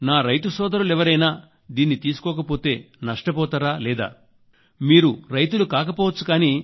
నా రైతు సోదరులు ఎవరైనా దీన్ని తీసుకోకపోతే నష్టపోతారా లేదా మీరు రైతులు కాకపోవచ్చు